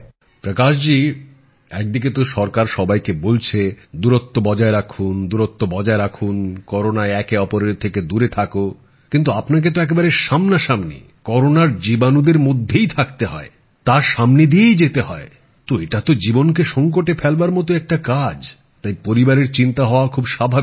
প্রকাশ জী একদিকে তো সরকার সবাইকে বলছে দূরত্ব বজায় রাখুন দূরত্ব বজায় রাখুন করোনায় একে অপরের থেকে দূরে থাকো কিন্তু আপনাকে তো একেবারে সামনাসামনি করোনার জীবাণুদের মধ্যেই থাকতে হয়তার সামনে দিয়েই যেতে হয় তো এটা তো জীবনকে সংকটে ফেলবার মতোই একটা কাজ তাই পরিবারের চিন্তা হওয়া খুব স্বাভাবিক